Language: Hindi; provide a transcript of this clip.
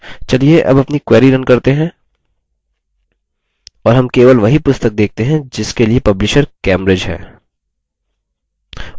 चलिए अब अपनी query रन करते हैं और हम केवल वही पुस्तक देखते हैं जिसके लिए publisher cambridge है